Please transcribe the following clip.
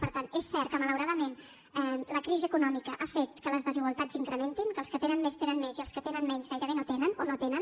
per tant és cert que malauradament la crisi econòmica ha fet que les desigualtats s’incrementin que els que tenen més tenen més i els que tenen menys gairebé no tenen o no tenen